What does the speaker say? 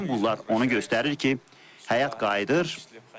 Bütün bunlar onu göstərir ki, həyat qayıdır.